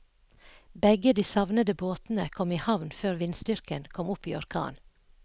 Begge de savnede båtene kom i havn før vindstyrken kom opp i orkan.